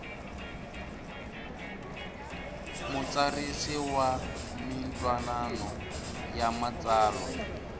mutsarisi wa mintwanano ya matsalwa